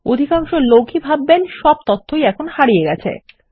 অধিকাংশ লোক ই ভাববেন সব তথ্যই এখন হারিয়ে গেছে